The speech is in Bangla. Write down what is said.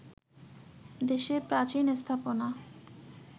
দেশের প্রাচীন স্থাপনা